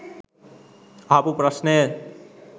අහපු ප්‍රශ්නය